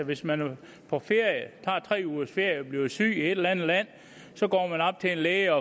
hvis man tager tre ugers ferie og bliver syg i et eller andet land så går man op til en læge